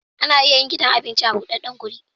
Ana iya yin gidan abinci a budaddan guri